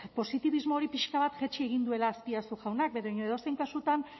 positibismo hori pixka bat jaitsi egin duela azpiazu jaunak baina edozein kasutan